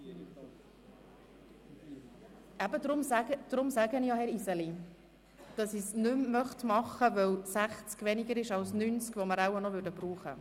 Weil 60 Minuten weniger sind als die 90 Minuten, die wir brauchen würden, sage ich, dass ich das Traktandum 97 nicht mehr behandeln möchte.